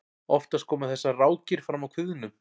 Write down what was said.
oftast koma þessar rákir fram á kviðnum